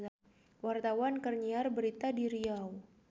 Wartawan keur nyiar berita di Riau